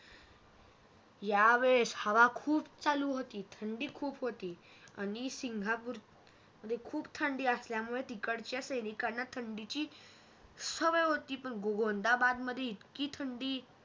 या वेळेस हवा खूप चालू होती थंडी खूप होती आणि सिंगापूरमध्ये अर खूप थंडी असल्यामुळे तिकडच्या सैनिकांना थंडीची अह सवय होती पण गोंदाबादमध्ये इतकी थंडी